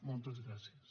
moltes gràcies